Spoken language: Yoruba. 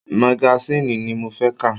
Magasiini ni mo fẹ́ ka!